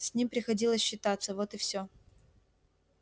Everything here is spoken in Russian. с ним приходилось считаться вот и все